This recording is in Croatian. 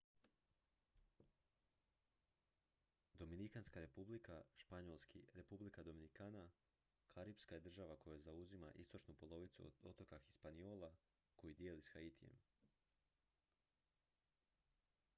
dominikanska republika španjolski: república dominicana karipska je država koja zauzima istočnu polovicu otoka hispaniola koji dijeli s haitijem